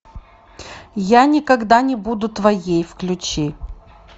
я никогда не буду твоей включи